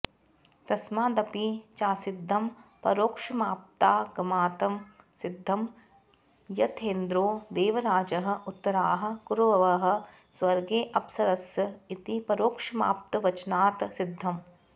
तस्मादपि चासिद्धं परोक्षमाप्तागमात् सिद्धं यथेन्द्रो देवराजः उत्तराः कुरवः स्वर्गेऽप्सरस इति परोक्षमाप्तवचनात् सिद्धम्